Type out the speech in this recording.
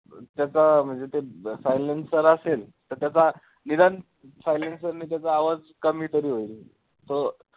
त्याचा म्हणजे तो अं silencer असेल तर त्याचा निदान silencer ने त्याचा आवाज कमी तरी होईल, तो